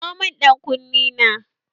Kawo mun ƴan kunne na!